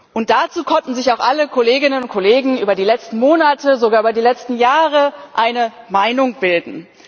Und dazu konnten sich auch alle Kolleginnen und Kollegen über die letzten Monate, sogar über die letzten Jahre eine Meinung bilden.